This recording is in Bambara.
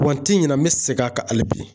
Wa n tɛ ɲinɛ an bɛ segin a kan hali bi